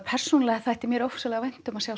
persónulega þætti mér ofsalega vænt um að sjá